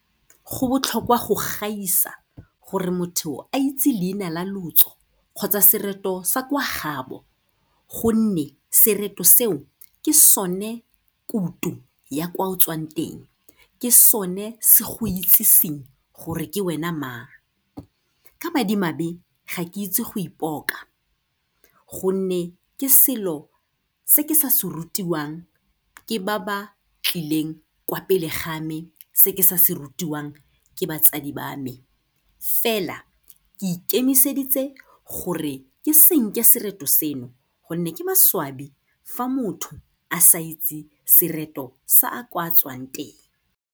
Go botlhokwa go gaisa gore motho a itse leina la lotso kgotsa sereto sa kwa gabo, gonne sereto seo, ke sone kuto ya kwa o tswang teng, ke sone se go itseseng gore ke wena mang. Ka madimabe ga ke itse go ipoka, gonne ke selo se ke sa se rutiwang ke ba ba tlileng kwa pele ga mme, se ke sa se rutiwang ke batsadi ba me, fela ke ikemiseditse gore ke senke sereto seno, gonne ke maswabi fa motho a sa itse sereto sa a kwa tswang teng.